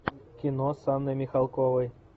кино с анной михалковой